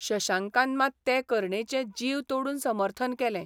शशांकान मात ते करणेचें जीव तोडून समर्थन केलें.